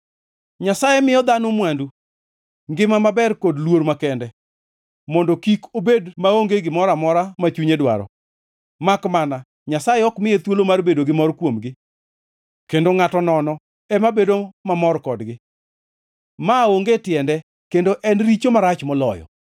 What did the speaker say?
Nyasaye miyo dhano mwandu, ngima maber kod luor makende, mondo kik obed maonge gimoro amora ma chunye dwaro, makmana Nyasaye ok miye thuolo mar bedo gi mor kuomgi, kendo ngʼato nono ema bedo mamor kodgi. Maonge tiende, kendo en richo marach moloyo.